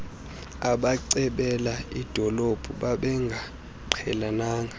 abacebela idolophu babengaqhelananga